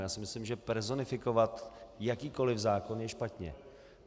Já si myslím, že personifikovat jakýkoli zákon je špatně.